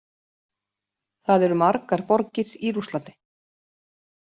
Það eru margar borgir í Rússlandi.